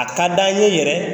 A ka d'an ye yɛrɛ